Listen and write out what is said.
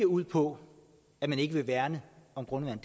ud på at man ikke vil værne om grundvandet